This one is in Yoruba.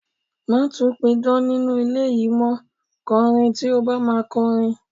Má tún pidán nínú ilé yìí mó, kọrin tó bá máa kọrin.